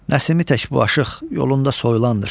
Nəsimi tək bu aşıq yolunda soyulandır.